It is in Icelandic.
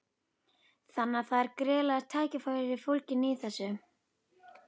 Þannig að það eru gríðarleg tækifæri fólgin í þessu?